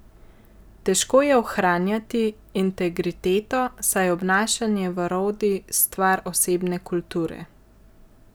Težko je ohranjati integriteto, saj je obnašanje v rodi stvar osebne kulture.